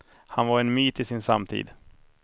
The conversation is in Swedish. Han var en myt i sin samtid.